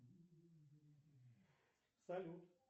салют